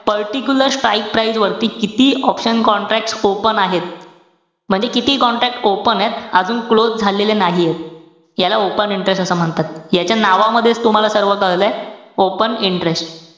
particular strike price वरती किती option contract open आहेत? म्हणजे किती contract open एत. अजून close झालेले नाहीयेत. याला open interest असं म्हणतात. याच्या नावामध्ये तुम्हाला सर्व कळलंय, open interest.